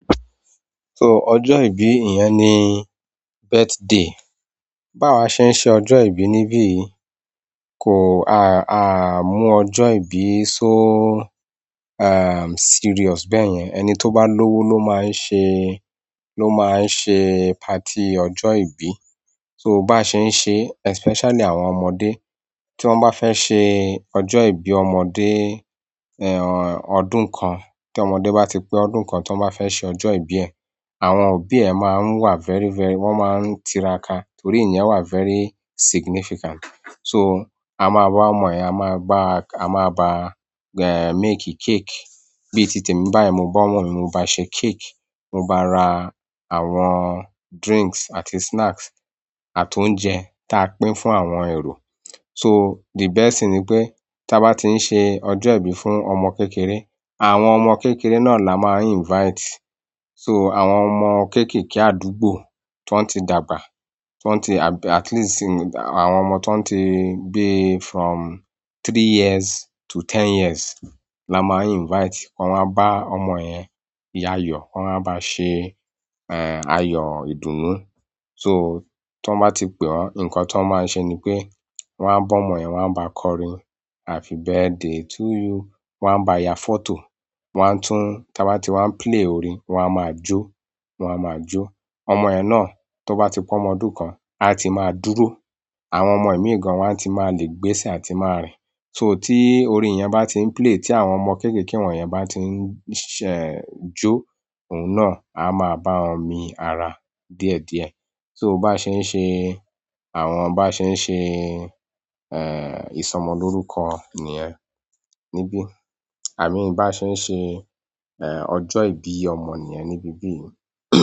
So ọjọ́ ìbí èèyàn ni birthday. Bá wa ṣe ń ṣe ọjọ́ ìbí níbíyi, a mú ọjọ́ ìbí so serious bẹ́yẹn. Ẹni tó bá lówó ló máa ń ṣe, ló máa ń ṣe party ọjọ́ ìbí. So bá ṣe ń ṣe especially àwọn ọmọdé, tí wọ́n bá fẹ́ ṣe ọjọ́ ìbí ọmọdé, ọdún kan, tí ọmọdé bá ti pé ọdún kan, tí wọ́n bá fẹ́ ṣe ọjọ́ ìbí ẹ̀, àwọn òbí ẹ máa ń wà very, very-- wọ́n máa ń tiraka torí iyen wà very significant. So a máa bá ọmọ yen, a máa bá make cake. Bíi tìtemi, báyi mo bá ọmọ mi, mo bá ṣe cake, mo bá ra àwọn drinks àti snacks àti oúnjẹ ti a pín fún àwọn èrò. So the best thing ni pé, tí a bá ti ń ṣe ọjọ́ ìbí fún ọmọ kékeré, àwọn ọmọ kékeré náà là máa ń invite. So àwọn ọmọ kéékèèké àdúgbò ti won ti dàgbà, ti won ti at least àwọn ọmọ ti won ti, bíi from three years to ten years là máa ń invite. Wọ́n wá bá ọmọ yẹn yo ayọ̀, wọ́n wáa bá ṣe, ayọ̀ ìdúnún. So ti won bá ti pè wọ́n, nǹkan ti won máa ń ṣe ni pé wọ́n a bá ọmọ yẹn, wọ́n á ba kọrin happy birthday to you, wọ́n a bá ya photo, wọ́n á tún, tí a bá ti wá ń play orin, wọ́n á máa jó, wọ́n á máa jó. Ọmọ yẹn náà tó bá ti pe ọmọ ọdún kan, a ti máa dúró. Àwọn ọmọ ìmí gan wọ́n á ti máa le gbésẹ̀ àti máa rìn. So tí orin yẹn bá ti ń play, tí àwọn ọmọ kéékèèké wọ̀nyẹn bá ti ń jó, òun náà a máa bá wọn mi ara díẹ̀díẹ̀. So bá ṣe ń ṣe, àwọn bá ṣe ń ṣe, ìsọmọlórúkọ nìyẹn níbí. I mean bi a se n se ojo ibi ọmọ niyen nibi ibi yi.